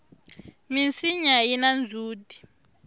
minsinya yina ndzhuti